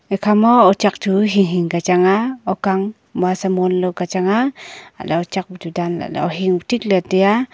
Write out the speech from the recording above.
ekhama ochak chu hing hing ka chang ah okang mua samon lao ka chang ah alah ochak bu chu dan lah ley ohing bu thik ley taiya.